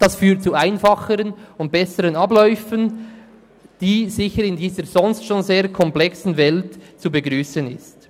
Das führt zu einfacheren und besseren Abläufen, die sicher in dieser sonst schon sehr komplexen Welt zu begrüssen sind.